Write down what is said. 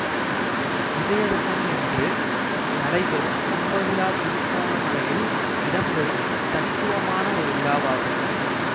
விசயதசமியன்று நடைபெறும் கும்பவிழா திருகோணமலையில் இடம்பெறும் தனித்துவமான ஒரு விழாவாகும்